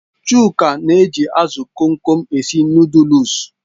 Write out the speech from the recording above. Chuka na-eji azụ Kom Kom esi nụdụlsu